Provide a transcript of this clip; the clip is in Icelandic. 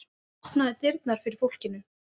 Hann opnaði dyrnar fyrir fólkinu.